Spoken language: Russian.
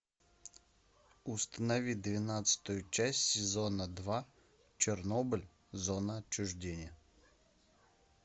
установи двенадцатую часть сезона два чернобыль зона отчуждения